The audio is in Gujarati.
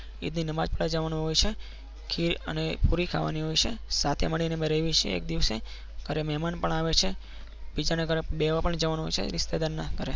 ઈદની નમાજ પઢવા જવાનું હોય છે ખીર અને પુરી ખાવાની હોય છે સાથે મળીને અમે રહીએ છીએ એક દિવસ ઘરે મહેમાન પણ આવે છે બીજાના ઘરે બેસવા પણ જવાનું હોય છે રિશ્તેદાર ના ઘરે.